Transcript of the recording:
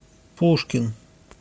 пушкин